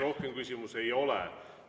Rohkem küsimusi ei ole.